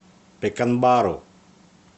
пеканбару